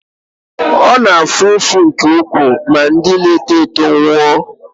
ọ na-afụ ụfụ nke ukwuu ma ndị na-eto eto nwụọ